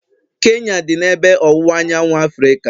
Kenya dị n'ebe ọwụwa anyanwụ Africa